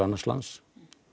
annars lands